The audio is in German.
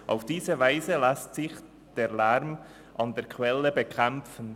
Auf diese Weise lässt sich der Lärm an der Quelle bekämpfen.